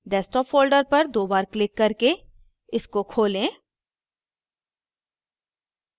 desktop folder पर दो बार क्लिक करके इसको खोलें